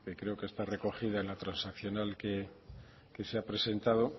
que creo que está recogida en la transaccional que se ha presentado